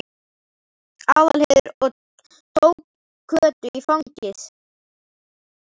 Aðalheiður og tók Kötu í fangið.